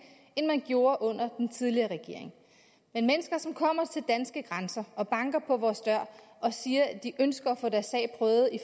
end man gjorde under den tidligere regering men mennesker som kommer til danske grænser og banker på vores dør og siger at de ønsker at få deres sag prøvet